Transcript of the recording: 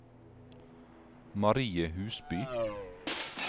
Marie Husby